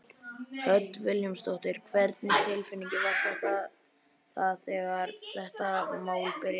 Hödd Vilhjálmsdóttir: Hvernig tilfinning var það þegar þetta mál byrjaði?